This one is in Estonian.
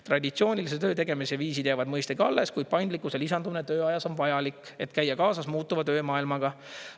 Traditsioonilise töötegemise viisid jäävad mõistagi alles, kui paindlikkuse lisandumine tööajas on vajalik, et käia kaasas muutuva töömaailmaga.